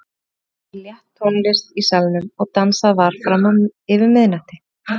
Brátt kvað við létt tónlist í salnum og dansað var fram yfir miðnætti.